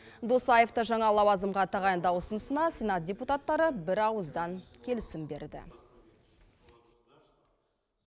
досаевты жаңа лауазымға тағайындау ұсынысына сенат депутаттары бірауыздан келісім берді